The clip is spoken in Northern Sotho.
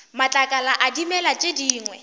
matlakala a dimela tše dingwe